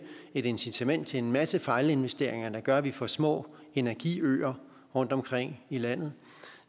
et incitament til en masse fejlinvesteringer der gør at vi får små energiøer rundtomkring i landet